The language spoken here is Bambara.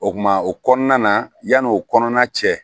O kuma o kɔnɔna na yanni o kɔnɔna cɛ